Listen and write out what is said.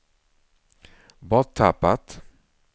borttappat